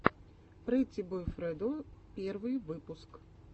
прэтти бой фредо первый выпуск